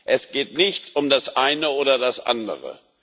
Es geht nicht um das eine oder das andere.